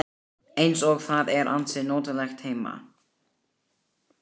Eins og það er ansi notalegt heima.